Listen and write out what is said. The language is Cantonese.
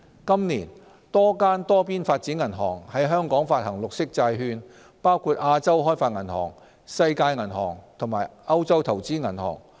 今年，多間多邊發展銀行於香港發行綠色債券，包括亞洲開發銀行、世界銀行及歐洲投資銀行。